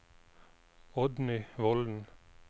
Oddny Volden